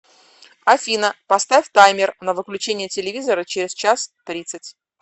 афина поставь таймер на выключение телевизора через час тридцать